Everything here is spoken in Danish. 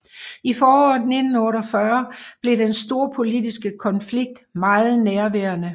I foråret 1948 blev den storpolitiske konflikt meget nærværende